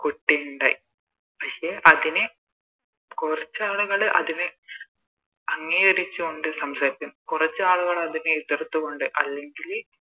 കുട്ടി ഇണ്ടായി പക്ഷെ കൊറച്ചാളുകള് അതിനെ അംഗീകരിച്ചോണ്ട് സംസാരിക്കുന്നു കൊറച്ചാളുകള് അതിനെ എതിർത്തുകൊണ്ട് അല്ലെങ്കില്